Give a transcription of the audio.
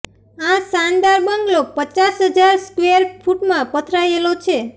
આ શાનદાર બંગલો પચાસ હજાર સ્કવેર ફૂટમાં પથરાયેલો છે